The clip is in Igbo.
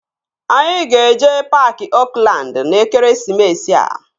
Anyị ga-eje paaki Oakland n'ekeresimesi a